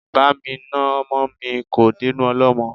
Bámi na ọmọ mi, kò dénú ọlọ́mọ